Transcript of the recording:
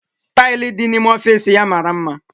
Tili di na-ime ọfịs ya mara mma.